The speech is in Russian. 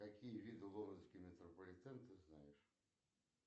какие виды лондонский метрополитен ты знаешь